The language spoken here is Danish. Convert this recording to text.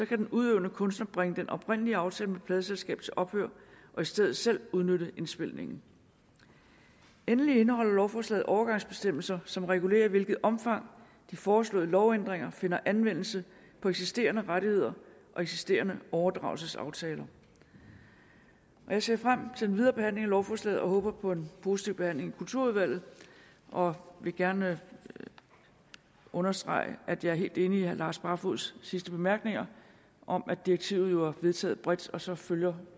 kan den udøvende kunstner bringe den oprindelige aftale med pladeselskabet til ophør og i stedet selv udnytte indspilningen endelig indeholder lovforslaget overgangsbestemmelser som regulerer i hvilket omfang de foreslåede lovændringer finder anvendelse på eksisterende rettigheder og eksisterende overdragelsesaftaler jeg ser frem til den videre behandling af lovforslaget og håber på en positiv behandling i kulturudvalget og vil gerne understrege at jeg er helt enig i herre lars barfoeds sidste bemærkninger om at direktivet jo er vedtaget bredt og så følger